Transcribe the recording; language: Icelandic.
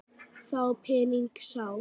Þá pening sá.